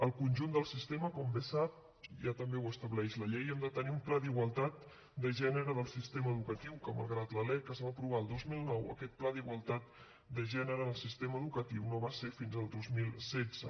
al conjunt del sistema com bé sap també ho estableix la llei hem de tenir un pla d’igualtat de gènere del sistema educatiu que malgrat que la lec es va aprovar el dos mil nou aquest pla per a la igualtat de gènere en el sistema educatiu no va ser fins al dos mil setze